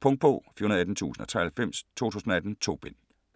Punktbog 418093 2018. 2 bind.